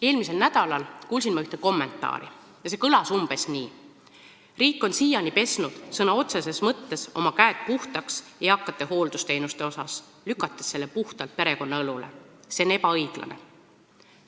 Eelmisel nädalal kuulsin ma ühte kommentaari, mis kõlas umbes nii: riik on siiani pesnud sõna otseses mõttes oma käed puhtaks eakate hooldusteenuste asjus, lükates selle puhtalt perekonna õlule, see on ebaõiglane.